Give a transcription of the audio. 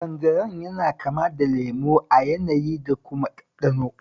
Tanjarin yana kama da lemo a yanayi da kuma ɗanɗano